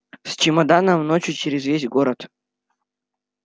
с чемоданом ночью через весь город